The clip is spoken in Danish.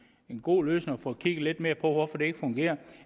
en god løsning at få kigget lidt mere på hvorfor det ikke fungerer